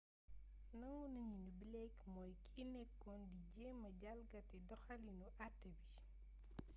nangu nañu ni blake mooy kiy nekkoon di jéema jalgati doxaliinu até bi